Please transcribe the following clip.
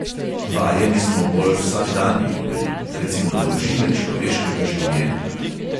Vajeni smo bolj vsakdanjih meril, recimo dolžine človeškega življenja.